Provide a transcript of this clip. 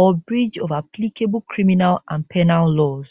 or breach of applicable criminal and penal laws